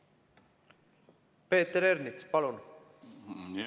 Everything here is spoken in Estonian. Peeter Ernits, palun!